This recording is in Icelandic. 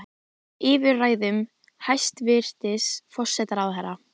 Eða yfir ræðum hæstvirts forsætisráðherra?